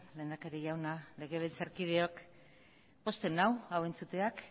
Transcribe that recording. lehendakari jauna legebiltzarkideok pozten nau hau entzuteak